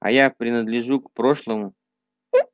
а я принадлежу к прошлому